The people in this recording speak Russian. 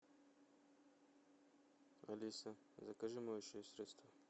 алиса закажи моющее средство